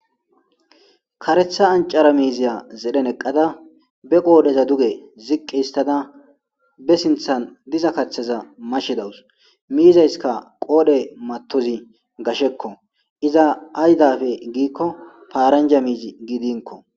Karetha ancara miziya zedhen eqada be qodheza ziqi histada besinthan diza kathaza mashe dawus. Mizaysika qodhe matozi gasheko pizza aydappe giko faranja miizi gidinko